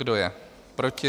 Kdo je proti?